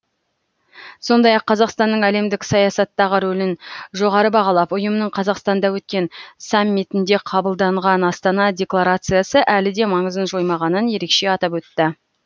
сондай ақ қазақстанның әлемдік саясаттағы рөлін жоғары бағалап ұйымның қазақстанда өткен саммитінде қабылданған астана декларациясы әлі де маңызын жоймағанын ерекше атап өтті